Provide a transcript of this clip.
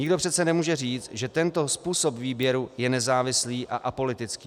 Nikdo přece nemůže říct, že tento způsob výběru je nezávislý a apolitický.